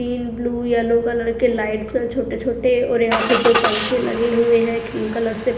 Green blue yellow colour के lights हैं छोटे छोटे और यहां पे दो पंखे लगे हुए हैं क्रीम कलर से।